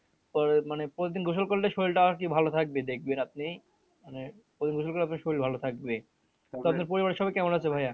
তারপর মানে প্রতিদিন গোসল করলে শরীল টা আরকি ভালো থাকবে দেখবেন আপনি মানে প্রতিদিন গোসল করলে আপনার শরীল ভালো থাকবে। আপনার পরিবারের সবাই কেমন আছে ভাইয়া?